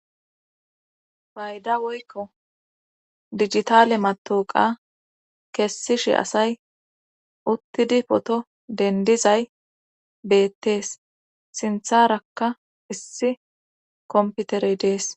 Payda woykko digitale matooqa kessishi asay uttidi poto dendizay beettees sintharakka issi komputerey dees